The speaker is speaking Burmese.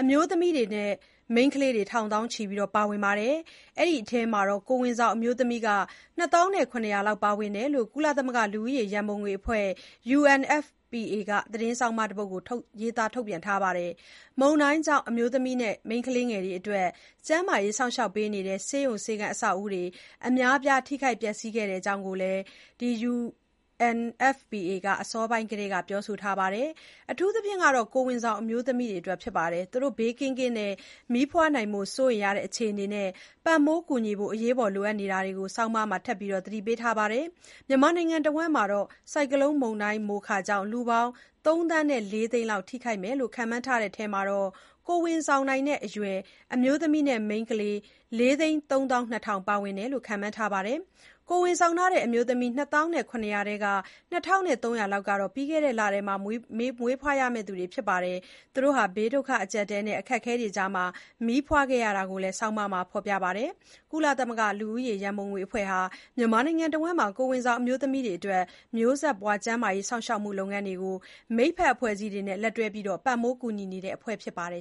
အမျိုးသမီးနဲ့ မိန်းခလေးတွေ ထောင်သောင်းချီ ပါဝင်ပြီး အဲဒီအထဲမှာ ကိုယ်ဝန်ဆောင်အမျိုးသမီး ၂ သောင်း ၇ ရာလောက် လည်း ပါဝင်တဲ့ အကြောင်း ကုလသမဂ္ဂ လူဦးရေရံပုံငွေအဖွဲ့ UNFPA က သတင်းဆောင်းပါးတပုဒ် ရေးသားထုတ်ပြန်ပါတယ်။ မုန်တိုင်းကြောင့် အမျိုးသမီးနဲ့ မိန်းခလေးငယ်တွေ အတွက် ကျန်းမာရေးစောင့်ရှောက်ပေးနေတဲ့ ဆေးရုံဆေးခန်း အဆောက်အအုံတွေ အများအပြား ထိခိုက်ပျက်ဆီးခဲ့တဲ့အကြောင်း UNFPA က အစောပိုင်းကတည်းက ပြောဆိုထားပါတယ်။ အထူးသဖြင့် ကိုယ်ဝန်ဆောင်အမျိုးသမီးတွေက ဘေးကင်းကင်း မီးဖွားနိုင်ဖို့ စိုးရိမ်နေရတဲ့ အခြေအနေနဲ့ ပံ့ပိုးကူညီဖို့ လိုအပ်နေတာတွေကို ဆောင်းပါးမှာ ထပ်မံ သတိပေးထားပါတယ်။ မြန်မာနိုင်ငံတဝှမ်း မုန်တိုင်းကြောင့် လူပေါင်း ၃ သန်း ၄ သိန်းလောက် ထိခိုက်မယ်လို့ ခန့်မှန်းတဲ့အထဲမှာ ကိုယ်ဝန်ဆောင်နိုင်တဲ့ အရွယ် အမျိုးသမီးနဲ့ မိန်းခလေး ၄ သိန်း ၃ သောင်း ၂ ထောင် ပါဝင်တယ်လို့ ခန့်မှန်းထားပါတယ်။ ကိုယ်ဝန်ဆောင်ထားတဲ့ အမျိုးသမီး ၂ သောင်း ၇ ရာထဲက ၂၃၀၀ လောက်ဟာ ပြီးခဲ့တဲ့ လက မွေးဖွားရမယ့် သူတွေဖြစ်ပြီး ဘေးဒုက္ခအကျပ်အတည်းနဲ့ အခက်အခဲတွေကြား မီးဖွားခဲ့ကြရတာကို ဆောင်းပါးမှာ ဖေါ်ပြထားပါတယ်။ ကုလသမဂ္ဂ လူဦးရေရံပုံငွေအဖွဲ့ UNFPA ဟာ မြန်မာနိုင်ငံတဝှမ်း ကိုယ်ဝန်ဆောင် အမျိုးသမီးတွေအတွက် မျိုးဆက်ပွားကျန်းမာရေး စောင့်ရှောက်မှုလုပ်ငန်းတွေကို မိတ်ဖက်အဖွဲ့အစည်းတွေနဲ့ လက်တွဲပြီး ပံ့ပိုးကူညီနေတဲ့ အဖွဲ့ဖြစ်ပါတယ်